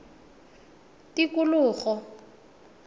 tikologo